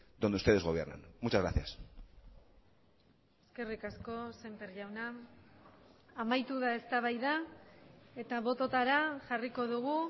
dónde ustedes gobiernan muchas gracias eskerrik asko semper jauna amaitu da eztabaida eta bototara jarriko dugu